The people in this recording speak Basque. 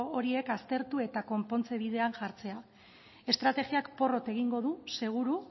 horiek aztertu eta konpontze bidean jartzea estrategiak porrot egingo dugu seguru